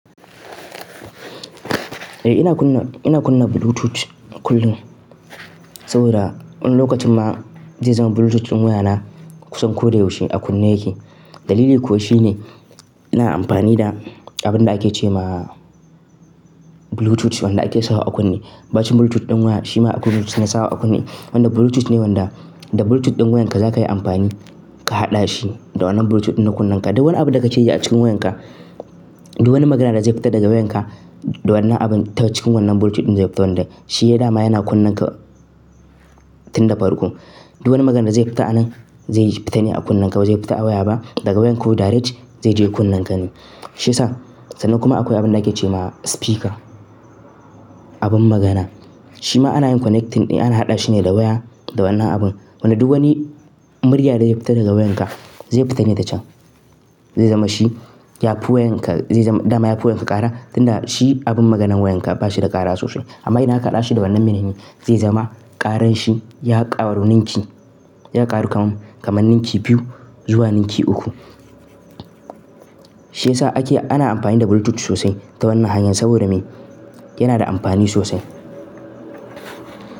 Eh ina kunna, ina kunna bluetooth kullum saboda wani lokacin ma zai zama bluetooth ɗin wayana kusan ko da yaushe a kunne yake. Dalili kuwa shine ina amfani da abin da ake ce ma bluetooth wanda ake sawa a kunne. Baacin bluetooth ɗin waya, shi ma bluetooth na sawa a kunne. Wanda bluetooth ne wanda da bluetooth ɗin wayanka zakayi amfani ka haɗa shi da wannan bluetooth ɗin na kunnenka. Duk wani abu da kace yake a cikin wayanka, duk wani magana da zai fita daga wayanka da wannan abun ta cikin wannan bluetooth ɗin zai fito wanda shi ya dama yana kunnenka tun da farko. Duk wani magana da zai fita anan zai fitane a kunnenkawai. Ba zai fita a waya ba daga wayanka direct zai je kunnenka ne. Shi yasa sannan kuma akwai abin da ake ce ma speaker. Abin magana. Shi ma ana yin connecting ne ana haɗa shi ne da waya da wannan abun. Wanda duk wani murya da ya fita daga wayanka zai fita ne ta can. Zai zama shi ya fi wayanka zai zama dama ya fi wayanka ƙara tunda shi abin maganan wayanka bashi da ƙara sosai. Amma idan aka haɗa shi da wannan menene zai zama ƙaran shi ya ƙaru ninki ya ƙaru kam kamar ninki biyu zuwa ninki uku. Shi yasa ake ana amfani da bluetooth sosai ta wannan hanyar saboda me? Yana da amfani sosai.